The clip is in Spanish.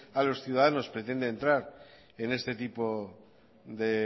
a los ciudadanos pretende entrar en este tipo de